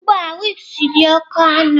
Ugbu a wigs dị oke ọnụ.